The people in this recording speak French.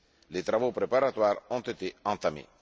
Les travaux préparatoires ont été entamés.